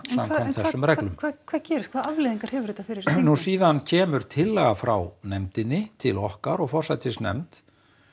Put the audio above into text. þessum reglum en hvað gerist hvaða afleiðingar hefur þetta fyrir nú síðan kemur tillaga frá nefndinni til okkar og forsætisnefnd